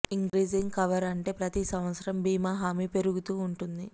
increasing cover అంటే ప్రతి సంవత్సరం బీమా హామీ పెరుగుతూ ఉంటుంది